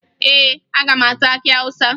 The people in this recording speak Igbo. Ee, aga m ata akị Awụsa